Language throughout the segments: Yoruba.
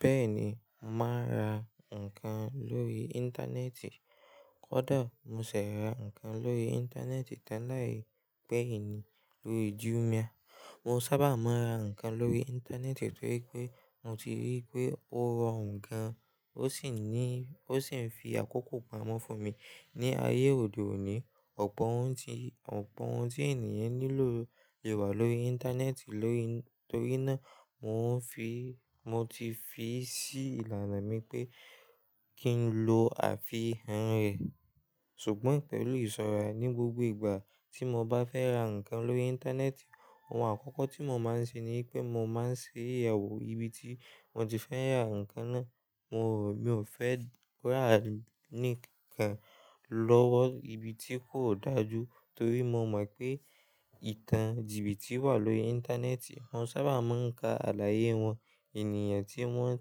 Bẹ́ẹ̀ni, màá ra ǹkan lórí Íńtánẹ́ẹ̀tì. Kódà mo ṣẹ̀ rà ǹkan lórí Íńtánẹ́ẹ̀tì tẹ́lẹ̀ pẹ́yìn ní lórí Jumia. Mo sábà máa ń ra ǹkan lórí Íńtánẹ́ẹ̀tì nítorí pé mo ti rí pé ó rọrùn gan, ó sì ní, ó sì ń fi àkókò pamọ́ fún mi. Ni ayé òde òní, ọ̀pọ̀ ohun tí, ọ̀pọ̀ ohun tí ènìyàn nílò lè wà lórí Íńtánẹ́ẹ̀tì. Lórí, torí náà mò ń fi, mo ti fi sí ìlànà mi pé kí n lo àfi han rẹ̀. Ṣùgbọ́n pẹ̀lú ìṣọ́ra, ní gbogbo ìgbà tí mo bá fẹ́ ra ǹkan lórí Íńtánẹ́ẹ̀tì, ohun àkọ́kọ́ tí mo máa ń ṣe ní pé mo máa ń ṣe ìyàwó ibi tí mo ti fẹ́ ra ǹkan náà. Mo, mí ò fẹ́ rà ní kan lọ́wọ́ ibi tí kò dájú, torí mo mọ̀ pé ìtàn jìbìtì wà lórí Íńtánẹ́ẹ̀tì. Wọ́n sábà máa ń ka àlàyé wọn, ènìyàn tí wọ́n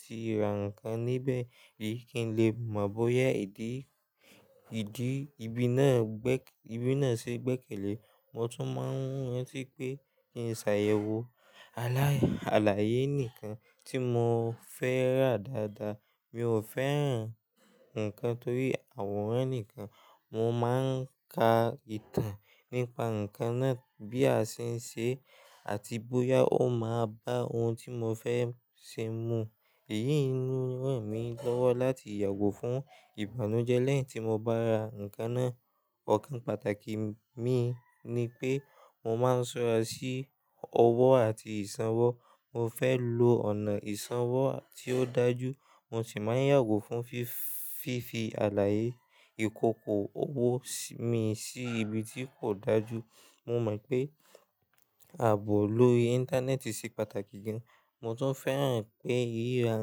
ti ra ǹkan níbẹ̀, kí n lè mọ̀ bóyá ìdí, ìdí ibi náà gbẹ́, ibi náà ṣe gbẹ́kẹ̀lé. Mo tún máa ń rántí pé kí n ṣàyẹ̀wò àlàyé, àlàyé nìkan tí mo fẹ́ rà dáadáa. Mi ò fẹ́ ràn ǹkan torí àwòrán nìkan. Mo máa ń ka ìtàn nípa ǹkan náà bí a ṣe ń ṣe àti bóyá ó máa bá ohun tí mo fẹ́ ṣe mu. Èyí ń ràn mí lọ́wọ́ láti yàgò fún ìbànújẹ́ lẹ́yìn tí mo bá ra ǹkan náà. Ọ̀kan pàtàkì mi ni pé mo máa ń ṣọ́ra sí owó àti ìsanwó. Mo fẹ́ lo ọ̀nà ìsanwó tí ó dájú, mo sì máa ń yàgò fún fífi, fífi àlàyé ìkòkò owó mi sí ibi tí kò dájú. Mo mọ̀ pé ààbò lórí Íńtánẹ́ẹ̀tì ṣe pàtàkì gan. Mo tún fẹ́ràn pé ìríra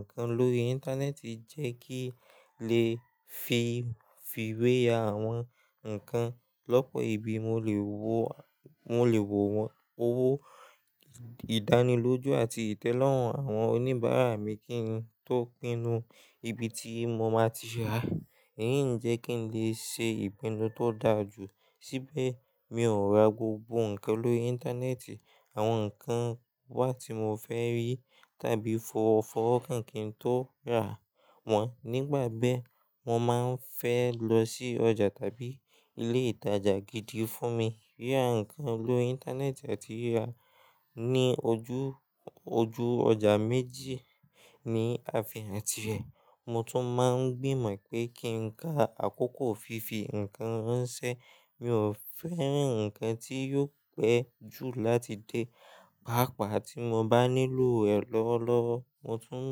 ǹkan lórí Íńtánẹ́ẹ̀tì jẹ́ kí n lè fi, fi wé ya àwọn ǹkan lọ́pọ̀ ibi. Mo lè wó, mo lè wò wọ́n owó ìdánilójú àti ìtẹ́lọ́rùn àwọn oníbàárà mi kí n tó pinnu ibi tí mo máa ti rà. Èyí ń jẹ́ kí n lè ṣe ìpinnu tó dájú. Síbẹ̀ mi ò ra gbogbo ǹkan lórí Íńtánẹ́ẹ̀tì. Àwọn ǹkan wá tí mo fẹ́ rí tàbí fọ́wọ́ kan kín tó rà wọ́n nígbàbẹ́, mo máa ń fẹ́ lọ sí ọjà tàbí ilé ìtajà gidi fún mi. Ríra ǹkan lórí Íńtánẹ́ẹ̀tì àti ríra ní ojú, ojú ọjà méjì ní àfin àti ẹ̀. Mo tún máa ń gbìmọ̀ pé kí n ka àkókò fífi ǹkan ránṣẹ́. Mi ò fẹ́ rìn ǹkan tí yóò pẹ́ jù láti dé. Páápàá tí mo bá nílò rẹ̀ lọ́wọ́lọ́wọ́, mo tún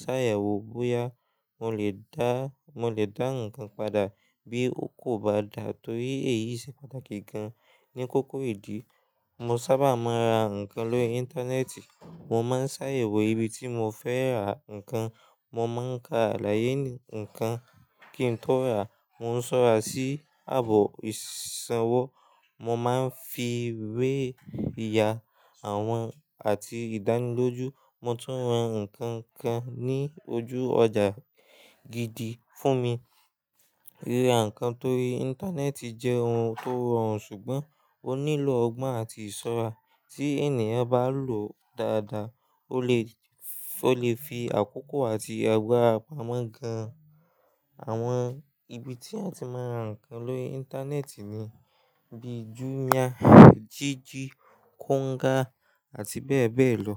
ṣàyẹ̀wò bóyá mo lè dá, mo lè dá ǹkan padà bí ó kò bá dà, torí èyí ṣe pàtàkì gan. Ni kókó ìdí, mo sábà máa ń ra ǹkan lórí Íńtánẹ́ẹ̀tì. Mo máa ń ṣàyẹ̀wò ibi tí mo fẹ́ ra ǹkan. Mo máa ń ka àlàyé ǹkan kí n tó rà. Mo ń ṣọ́ra sí ààbò ìsanwó. Mo máa ń fi wé ya àwọn àti ìdánilójú. Mo tún rán ǹkan kan ní ojú ọjà gidi fún mi. Ríra ǹkan torí Íńtánẹ́ẹ̀tì jẹ́ ohun tó rọrùn, ṣùgbọ́n ó nílò ọgbọ́n àti ìṣọ́ra. Tí ènìyàn bá lòó dáadáa, ó lè, ó lè fi àkókò àti àgbara pamọ́ gan. Àwọn ibi tí a ti máa ń ra ǹkan lórí Íńtánẹ́ẹ̀tì ni bíi Jumia, Jiji, Konga àti bẹ́ẹ̀ bẹ́ẹ̀ lọ.